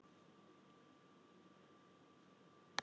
Hvernig áttu sjö manns að rúmast í tveimur herbergjum og stofu?